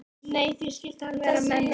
Nei, því skyldi hann vera með mér?